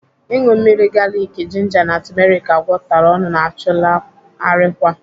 Ịṅụ mmiri galiki, jinja na tumeriki agwakọtara ọnụ na-achụlaa arịkwa.